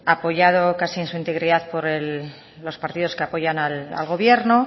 apoyado casi en su integridad por los partidos que apoyan al gobierno